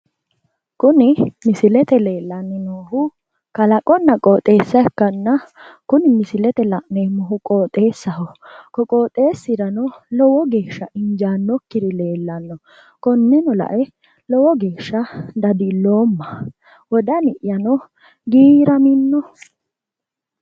Kuni misilete leellanni noohu kalaqonna qoxeessa ikkanna kuni misilete la'neemmohu qoxeessaho ko qoxeessirano lowo geeshsha injaannokkiri leellanno konneno la"e lowo geeshsha dadilloomma wodani'yano giiraminno.